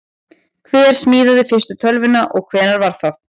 Hver smíðaði fyrstu tölvuna og hvenær var það?